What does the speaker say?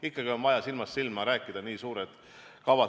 Ikkagi on vaja silmast silma rääkida, nii suured kavad.